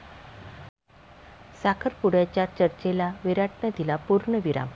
साखरपुड्याच्या चर्चेला विराटनं दिला पूर्णविराम